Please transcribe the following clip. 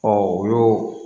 o y'o